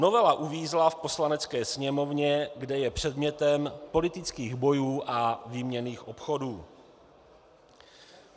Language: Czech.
Novela uvízla v Poslanecké sněmovně, kde je předmětem politických bojů a výměnných obchodů.